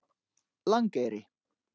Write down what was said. Langeyri